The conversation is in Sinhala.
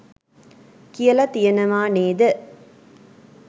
කියල තියනවා නේද?